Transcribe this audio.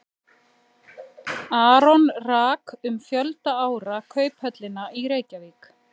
Aron rak um fjölda ára Kauphöllina í Reykjavík.